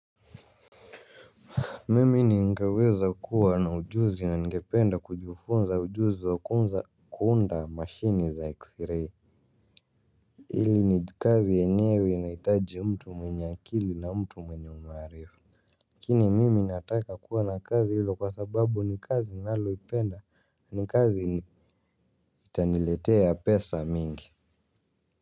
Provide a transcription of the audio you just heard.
Mimi ningeweza kuwa na ujuzi na ningependa kujifunza ujuzi wakuuza kuunda mashini za xray. Hili ni kazi yenyewe inahitaji mtu mwenye akili na mtu mwenye umaarifa. Lakini mimi nataka kuwa na kazi hiyo kwa sababu ni kazi nalo ipenda ni kazi ni itaniletea pesa mingi.